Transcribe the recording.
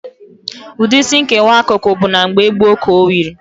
Ụdị Isí nkewa akụkụ bụ na mgbe gboo ka o wiri.